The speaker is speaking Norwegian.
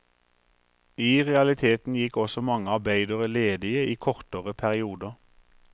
I realiteten gikk også mange arbeidere ledige i kortere perioder.